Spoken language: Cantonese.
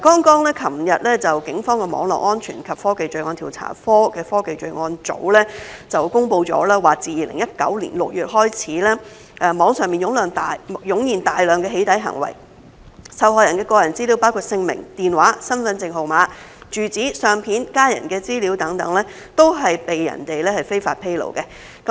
昨日警方的網絡安全及科技罪案調查科的科技罪案組公布，自2019年6月開始，網上湧現大量"起底"行為，受害人的個人資料，包括姓名、電話、身份證號碼、住址、相片、家人資料等，都被人非法披露。